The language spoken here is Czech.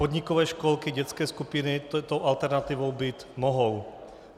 Podnikové školky, dětské skupiny touto alternativou být mohou.